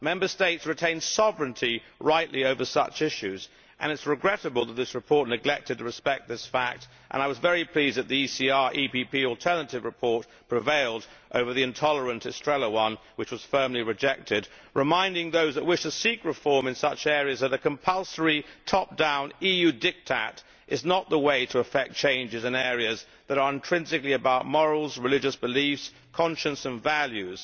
Member States retain sovereignty rightly over such issues and it is regrettable that this report neglected to respect this fact. I was very pleased that the ECR EPP alternative report prevailed over the intolerant Estrela one, which was firmly rejected, reminding those that wish to seek reform in such areas that a compulsory, top down EU diktat is not the way to effect changes in areas that are intrinsically about morals, religious beliefs, conscience and values.